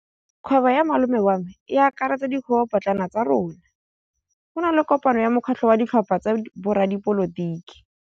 Kgwêbô ya malome wa me e akaretsa dikgwêbôpotlana tsa rona. Go na le kopanô ya mokgatlhô wa ditlhopha tsa boradipolotiki.